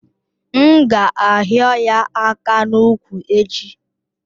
M ga ahio ya aka n'úkwù echi?